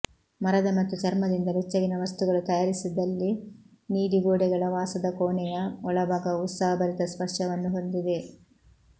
ಮರದ ಮತ್ತು ಚರ್ಮದಿಂದ ಬೆಚ್ಚಗಿನ ವಸ್ತುಗಳು ತಯಾರಿಸಿದಲ್ಲಿ ನೀಲಿ ಗೋಡೆಗಳ ವಾಸದ ಕೋಣೆಯ ಒಳಭಾಗವು ಉತ್ಸಾಹಭರಿತ ಸ್ಪರ್ಶವನ್ನು ಹೊಂದಿದೆ